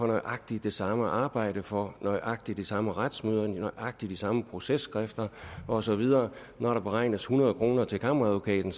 nøjagtig det samme arbejde for nøjagtig de samme retsmøder for nøjagtig de samme processkrifter og så videre når der beregnes hundrede kroner til kammeradvokaten